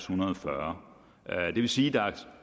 hundrede og fyrre det vil sige at